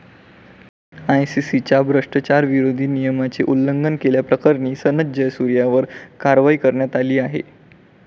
आयसीसीच्या भ्रष्टाचारविरोधी नियमाचे उल्लंघन केल्याप्रकरणी सनथ जयसूर्यावर कारवाई करण्यात आली आहे.